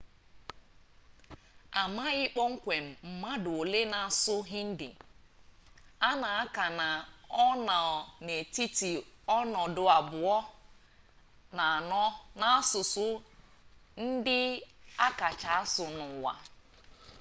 amaghị kpọmkwem mmadụ ole na-asụ hindi a na-aka na ọ nọ n'etiti ọnọdụ abụọ na anọ n'asụsụ ndị akacha asụ n'ụwa